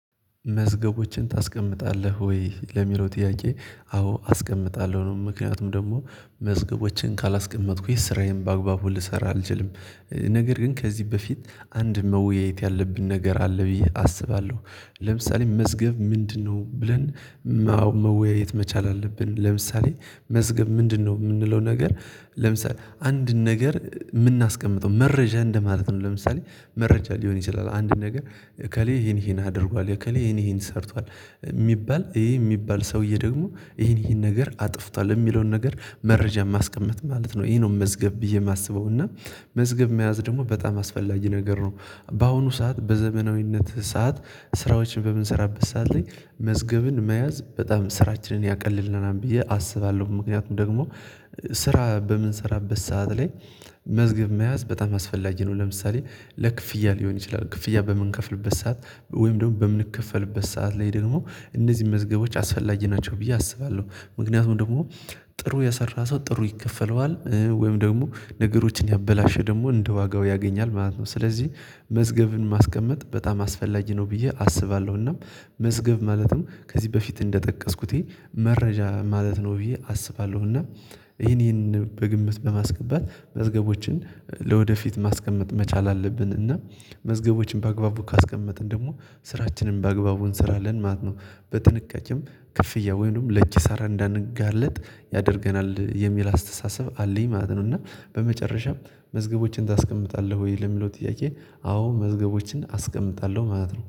መዝገቦችን ታስቀምጣለህ ወይ ለሚለው ጥያቄ? አዎ አስቀምጣለሁ ነው ምክንያቱም ደግሞ መዝገቦችን ካላስቀመጥኩ የስራዬን በአግባቡ ልሰራ አልችልም። ነገር ግን ከዚህ በፊት አንድ መወያየት ያለብን ነገር አለ ብዬ አስባለሁ። ለምሳሌ መዝገብ ምንድነው ብለን መወያየት መቻል አለብን። ለምሳሌ መዝገብ ምንድነው የምንለው ነገር ለምሳሌ አንድን ነገር የምናስቀምጠው መረጃ እንደማለት ነው። ለምሳሌ መረጃ ሊሆን ይችላል አንድ ነገር እከሌ ይሄን ይሄን አድርጓል እከሌ ይሄን ይሄን ሰርቷል። የሚባል ይሄ የሚባል ሰውዬ ደግሞ ይሄን ይሄን ነገር አጥፍቷል የሚለውን ነገር መረጃ ማስቀመጥ ማለት ነው ይሄ ነው። መዝገብ ብዬ የማስበው እና መዝገብ መያዝ ደግሞ በጣም አስፈላጊ ነገር ነው። በአሁኑ ሰዓት በዘመናዊነት ሰዓት ስራዎችን በምንሰራበት ሰዓት ላይ መዝገብን መያዝ በጣም ስራችንን ያቀልልናል ብዬ አስባለሁ። ምክንያቱም ደግሞ ስራ በምንሰራበት ሰዓት ላይ መዝገብ መያዝ በጣም አስፈላጊ ነው። ለምሳሌ ለክፍያ ሊሆን ይችላል ክፍያ በምንከፍልበት ሰዓት ወይም ደግሞ በምንከፈልበት ሰዓት ላይ ደግሞ እነዚህን መዝገቦች አስፈላጊ ናቸው ብዬ አስባለሁ። ምክንያቱም ደግሞ ጥሩ የሰራ ሰው ጥሩ ይከፈለዋል ወይም ደግሞ ነገሮችን ያበላሸ ደግሞ እንደ ዋጋው ያገኛል ማለት ነው። ስለዚህ መዝገብን ማስቀመጥ በጣም አስፈላጊ ነው ብዬ አስባለሁና። መዝገብ ማለትም ከዚህ በፊት እንደጠቀስኩት መረጃ ማለት ነው ብዬ አስባለሁ። እና ይሄን ይሄንን በግምት በማስገባት መዝገቦችን ለወደፊት ማስቀመጥ መቻል አለብን። እና መዝገቦችን በአግባቡ ካስቀመጥን ደግሞ ስራችንን በአግባቡ እንሰራለን ማለት ነው። በጥንቃቄም ክፍያ ወይንም ለኪሳራ እንዳንጋለጥ ያደርገናል የሚል አስተሳሰብ አለኝ ማለት ነው። እና በመጨረሻም መዝገቦችን ታስቀምጣለህ ወይ ለሚለው ጥያቄ? አዎ መዝገቦችን አስቀምጣለሁ ማለት ነው